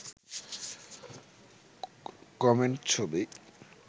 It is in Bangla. কমেন্ট ছবি